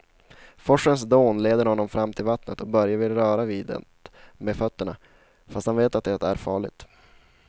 Forsens dån leder honom fram till vattnet och Börje vill röra vid det med fötterna, fast han vet att det är farligt.